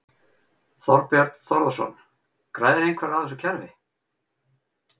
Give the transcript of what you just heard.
Þorbjörn Þórðarson: Græðir einhver á þessu kerfi?